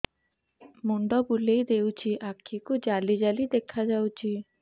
ମୁଣ୍ଡ ବୁଲେଇ ଦେଉଛି ଆଖି କୁ ଜାଲି ଜାଲି ଦେଖା ଯାଉଛି